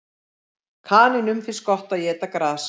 Kanínum finnst gott að éta gras.